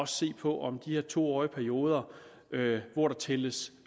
se på om den her to årige periode hvor der tælles